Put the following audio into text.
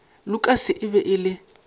lukas e be e le